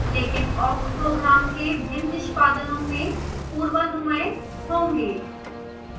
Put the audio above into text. लेकिन awk program के भिन्न निष्पादनों में पूर्वानुमेय होंगे